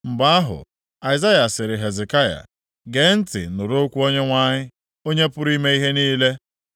Mgbe ahụ, Aịzaya sịrị Hezekaya, “Gee ntị nụrụ okwu Onyenwe anyị, Onye pụrụ ime ihe niile.